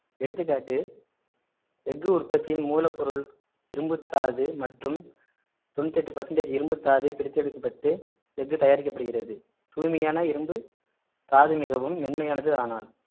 எடுத்துக்காட்டு எஃகு உற்பத்தியின் மூலப்பொருள் இரும்புத்தாது மற்றும் தொண்ணூத்தி எட்டு percentage இரும்புத்தாது பிரித்தெடுக்கப்பட்டு எஃகு தயாரிக்கப்படுகிறது தூய்மையான இரும்புத்தாது மிகவும் மென்மையானது ஆனால்